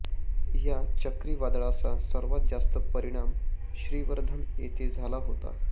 या चक्रीवादळाचा सर्वात जास्त परिणाम श्रीवर्धन येथे झाला होता